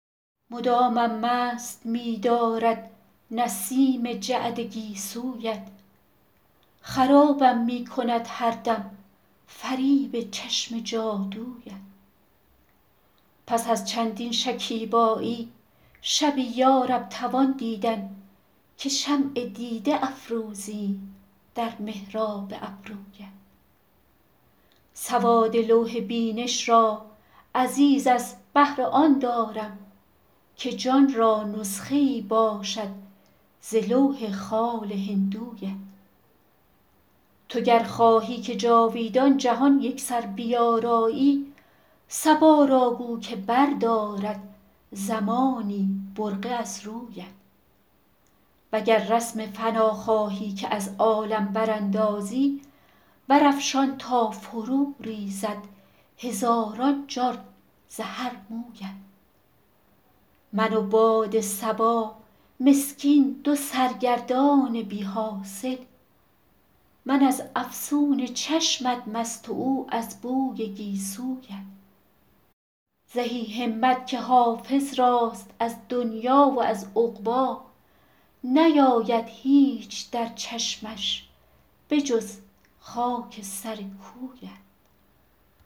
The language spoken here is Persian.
مدامم مست می دارد نسیم جعد گیسویت خرابم می کند هر دم فریب چشم جادویت پس از چندین شکیبایی شبی یا رب توان دیدن که شمع دیده افروزیم در محراب ابرویت سواد لوح بینش را عزیز از بهر آن دارم که جان را نسخه ای باشد ز لوح خال هندویت تو گر خواهی که جاویدان جهان یکسر بیارایی صبا را گو که بردارد زمانی برقع از رویت و گر رسم فنا خواهی که از عالم براندازی برافشان تا فروریزد هزاران جان ز هر مویت من و باد صبا مسکین دو سرگردان بی حاصل من از افسون چشمت مست و او از بوی گیسویت زهی همت که حافظ راست از دنیی و از عقبی نیاید هیچ در چشمش به جز خاک سر کویت